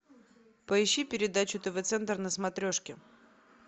поищи передачу тв центр на смотрешке